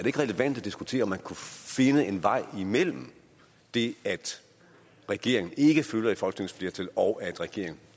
ikke relevant at diskutere om man kunne finde en vej imellem det at regeringen ikke følger et folketingsflertal og at regeringen